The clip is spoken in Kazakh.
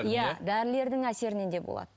дәрілердің әсерінен де болады